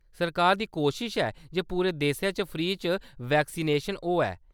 सरकार दी कोशश ऐ जे पूरे देसै च फ्री च वैक्सीनेशन होऐ।